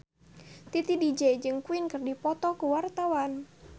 Titi DJ jeung Queen keur dipoto ku wartawan